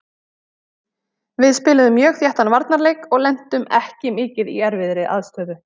Við spiluðum mjög þéttan varnarleik og lentum ekki mikið í erfiðri aðstöðu.